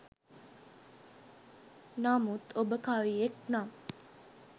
නමුත් ඔබ කවියෙක් නම්